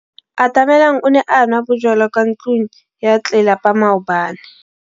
Atamelang o ne a nwa bojwala kwa ntlong ya tlelapa maobane.